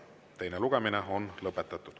Teine lugemine on lõpetatud.